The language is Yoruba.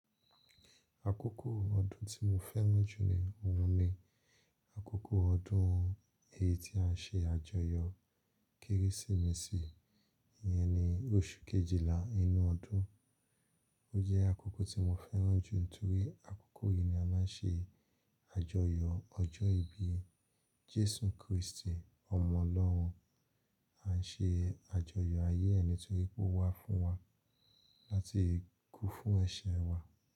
Àkókò ọdún tí mo fẹ́ràn jù ní òun ni àkókò ọdún yìí tí a ṣe àjọyọ̀ Kérésìmesì iyẹn ni oṣù Kejìlá inú ọdún. O jẹ́ àkókò tí mo fẹ́ràn jù nítorí àkókò yìí ni a máa ń ṣe àjọyọ̀ ọjọ́ ìbí Jésù Krístì ọmọ Ọlọ́run. A ṣe àjọyọ̀ ayé ẹ nítorí pé ó wá fún wa láti kú fún ẹ̀ṣẹ̀ wa.